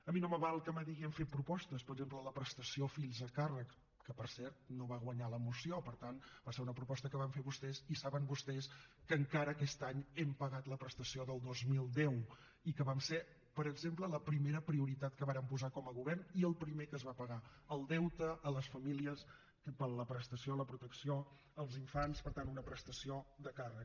a mi no me val que me digui hem fet propostes per exemple la prestació per fills a càrrec que per cert no va guanyar la moció per tant va ser una proposta que van fer vostès i saben vostès que encara aquest any hem pagat la prestació del dos mil deu i que va ser per exemple la primera prioritat que vàrem posar com a govern i el primer que es va pagar el deute a les famílies per la prestació a la protecció als infants per tant una prestació de càrrec